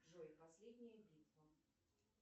джой последняя битва